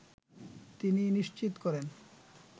তিনিই নিশ্চিত করেন